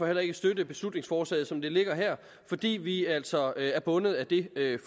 heller ikke støtte beslutningsforslaget som det ligger her fordi vi altså er bundet af det